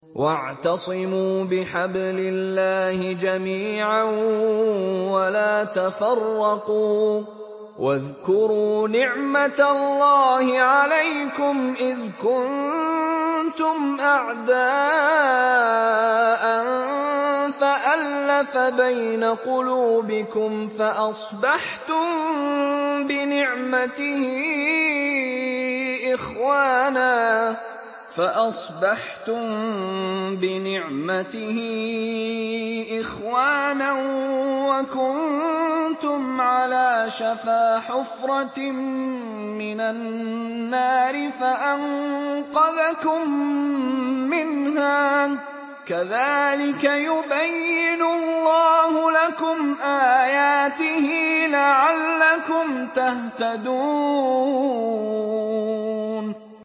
وَاعْتَصِمُوا بِحَبْلِ اللَّهِ جَمِيعًا وَلَا تَفَرَّقُوا ۚ وَاذْكُرُوا نِعْمَتَ اللَّهِ عَلَيْكُمْ إِذْ كُنتُمْ أَعْدَاءً فَأَلَّفَ بَيْنَ قُلُوبِكُمْ فَأَصْبَحْتُم بِنِعْمَتِهِ إِخْوَانًا وَكُنتُمْ عَلَىٰ شَفَا حُفْرَةٍ مِّنَ النَّارِ فَأَنقَذَكُم مِّنْهَا ۗ كَذَٰلِكَ يُبَيِّنُ اللَّهُ لَكُمْ آيَاتِهِ لَعَلَّكُمْ تَهْتَدُونَ